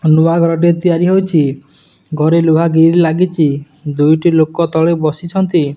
ନୂଆ ଘରଟିଏ ତିଆରି ହେଉଚି ଘରେ ଗ୍ରିଲ ଲାଗିଚି ଦୁଇଟି ଲୋକ ତଳେ ବସିଛନ୍ତି।